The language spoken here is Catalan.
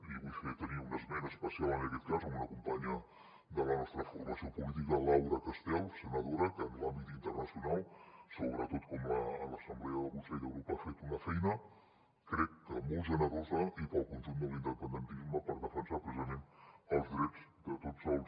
i vull fer un esment especial en aquest cas d’una companya de la nostra formació política laura castel senadora que en l’àmbit internacional sobretot en l’assemblea del consell d’europa ha fet una feina crec que molt generosa i per al conjunt de l’independentisme per defensar precisament els drets de tots els